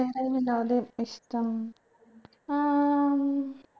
വേറെ വിനോദം ഇഷ്ടം ഏർ